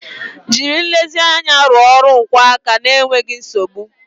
Jiri nlezianya rụọ ọrụ nkwọ aka n'enweghị nsogbu